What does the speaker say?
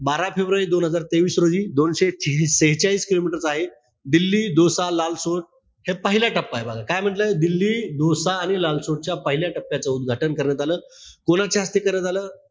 बारा फेब्रुवारी दोन हजार तेवीस रोजी दोनशे शेहेचाळीस kilometer चा आहे. दिल्ली-दोसा-लालसोद हे पहिला टप्पाय. बघा काय म्हंटलय? दिल्ली, दोसा आणि लालसोट च्या पहिल्या टप्प्यात उदघाटन करण्यात आलं. कोणाच्या हस्ते करण्यात आलं?